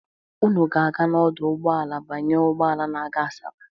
Unu ga-aga n'ọdụ ụgbọala banye ụgbọala na-aga Asaba?